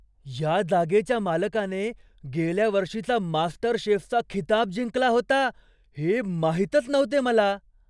या जागेच्या मालकाने गेल्या वर्षीचा मास्टरशेफचा खिताब जिंकला होता हे माहीतच नव्हते मला!